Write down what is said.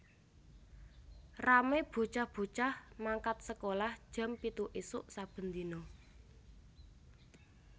Rame bocah bocah mangkat sekolah jam pitu isuk saben dino